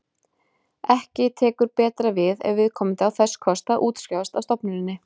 Ekki tekur betra við ef viðkomandi á þess kost að útskrifast af stofnuninni.